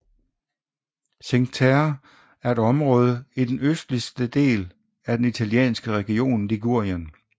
Cinque Terre er et område i den østligste del af den italienske region Ligurien